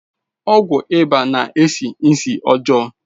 Ọgwụ ịba na-esi ísì ọjọọ.